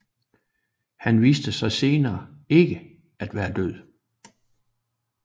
Han viste sig senere ikke at være død